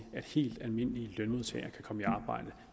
at helt almindelige lønmodtagere kan komme i arbejde